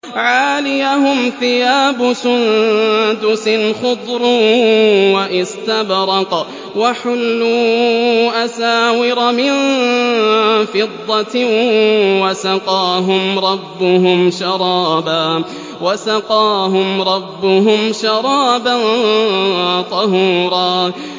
عَالِيَهُمْ ثِيَابُ سُندُسٍ خُضْرٌ وَإِسْتَبْرَقٌ ۖ وَحُلُّوا أَسَاوِرَ مِن فِضَّةٍ وَسَقَاهُمْ رَبُّهُمْ شَرَابًا طَهُورًا